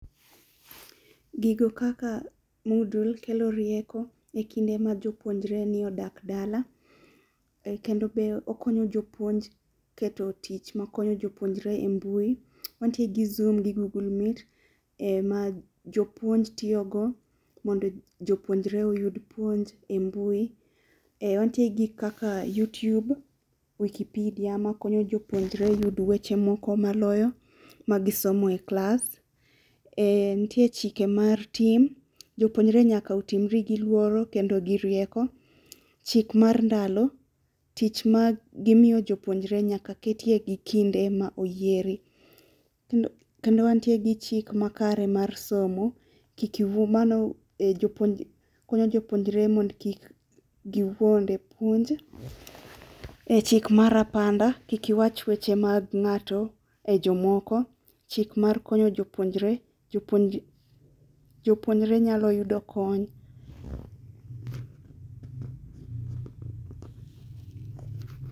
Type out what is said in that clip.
Gigo kaka mudul kelo rieko e kinde ma jopuonjreni odak dala, kendo be okonyo jopuonj keto tich makonyo jopuonjre e mbui, wantie gi zoom gi google meet ma jopuonj tiyo go mondo jopuonjre oyud puonj e mbui. Wantie gi kaka Youtube, wikipedia makonyo jopuonjre yud weche moko maloyo magisomo e klas. Nitie chike mar tim, jopuonjre nyaka otimre gi luoro kendo gi rieko. Chik mar ndalo, tich ma gitiyo jopuonjre nyaka ketie gi kinde ma oyiere. Kendo wantie gi chik makare mar somo, konyo jopunjre mondo kik giwoud e puonj. Chik mar apanda, kik iwach weche mag nga'to e jomoko. Chik mar konyo jopuonjre jopuonjre nyalo yudo kony.